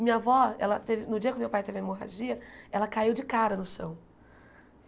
Minha avó, ela teve no dia que meu pai teve a hemorragia, ela caiu de cara no chão.